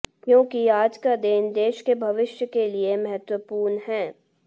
क्योंकि आज का दिन देश के भविष्य के लिए महत्वपूर्ण है